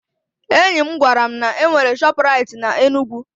Enyi m gwara m na-enwere Shọpraịt n'Enugwu